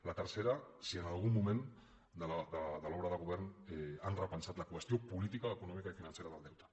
la tercera si en algun moment de l’obra de govern han repensat la qüestió política econòmica i financera del deute